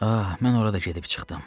Ah, mən orada da gedib çıxdım.